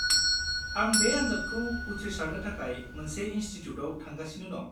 -आं बे आनजादखौ उथ्रिसारनो थाखाय मोनसे इनस्टिट्युटाव थांगासिनो दं।